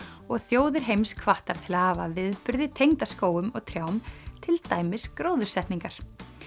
og þjóðir heims hvattar til hafa viðburði tengda skógum og trjám til dæmis gróðursetningar